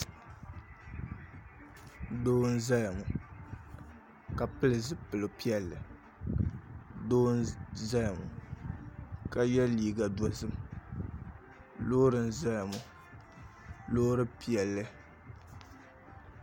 Doo n ʒɛya ŋo ka pili zipili piɛlli doo n ʒɛya ŋo ka yɛ liiga dozim loori n ʒɛya ŋo loori piɛlli